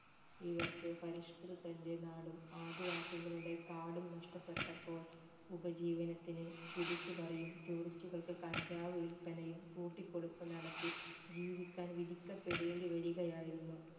ഇവർക്ക് പരിഷ്‌കൃതന്റെ നാടും ആദിവാസികളുടെ കാടും നഷ്ട്ടപെട്ടപ്പോൾ ഉപജീവനത്തിന് പിടിച്ചു പറിയും tourist കൾക്ക് കഞ്ചാവ് വിൽപ്പനയും കൂട്ടിക്കൊടുപ്പും നടത്തി ജീവിക്കാൻ വിധിക്കപ്പെടേണ്ടി വരുകയായിരുന്നു